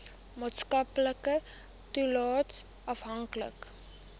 maatskaplike toelaes afhanklik